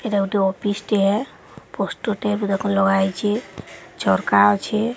ଏଇଟା ଗୋଟେ ଅଫିସ୍ ଟିଏ। ପୋଷ୍ଟର ଟେ ଦେଖିନ୍ ଲଗାହେଇଚେ ଝର୍କା ଅଛେ।